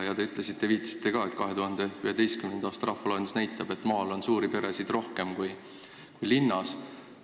Te viitasite ka, et 2011. aasta rahvaloendus näitab, et maal on suuri peresid rohkem kui linnas.